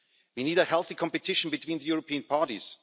We need a healthy competition between the European parties.